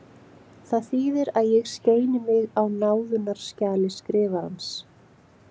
Það þýðir að ég skeini mig á náðunarskjali Skrifarans.